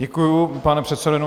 Děkuji, pane předsedo.